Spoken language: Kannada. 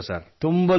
90 ಲಕ್ಷ